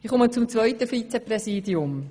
Ich komme zum zweiten Vizepräsidium.